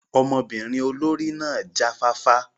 Ọmọbinrin olori náa ja fafa